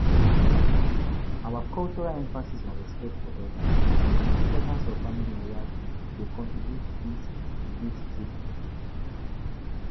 Our cultural emphasis on respect for elders and di importance of family loyalty dey contribute to dis guilt-tripping.